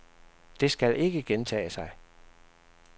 Det skal ikke gentage sig.